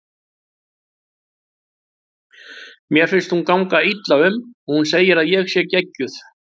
Mér finnst hún ganga illa um og hún segir að ég sé geggjuð.